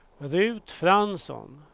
Ruth Fransson